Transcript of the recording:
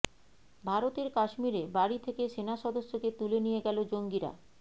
ভারতের কাশ্মিরে বাড়ি থেকে সেনাসদস্যকে তুলে নিয়ে গেল জঙ্গিরা